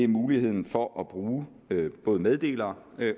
muligheden for at bruge både meddelere